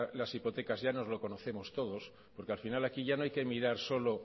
las hipotecas ya nos lo conocemos todos porque al final aquí ya no hay que mirar solo